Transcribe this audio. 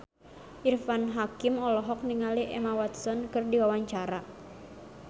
Irfan Hakim olohok ningali Emma Watson keur diwawancara